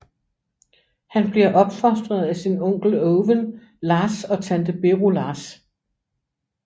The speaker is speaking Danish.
Han bliver opfostret af sin onkel Owen Lars og tante Beru Lars